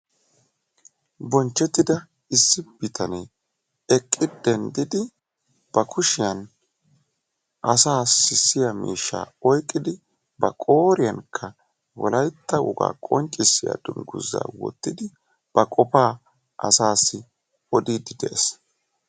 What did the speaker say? Bonchchetida issi bitanee eqqi denddidi ba kushiyan asa sissiya miishsha oyqqidi ba qooriyankka wolaytta woga qonccissiya dungguza wottidi ba qopa asaassi odiide de'ees.